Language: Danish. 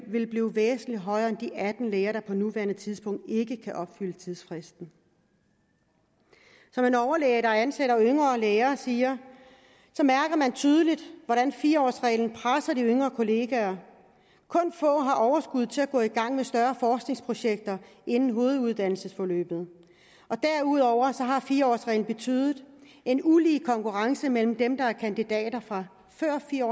vil blive væsentlig højere end de atten læger der på nuværende tidspunkt ikke kan opfylde tidsfristen som en overlæge der ansætter yngre læger siger mærker man tydeligt hvordan fire årsreglen presser de yngre kollegaer kun få har overskud til at gå i gang med større forskningsprojekter inden hoveduddannelsesforløbet derudover har fire årsreglen betydet en ulige konkurrence mellem dem der er kandidater fra før fire